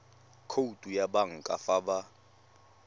khoutu ya banka fa ba